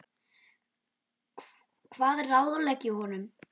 Hvað ráðlegg ég honum?